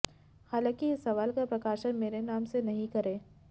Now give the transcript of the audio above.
हालांकि इस सवाल का प्रकाशन मेरे नाम से नहीं करें